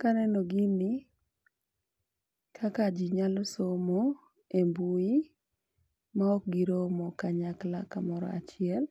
Kaneno gini kaka jii nyalo somo e mbui ma ok giromo kanyakla kamoro achiel,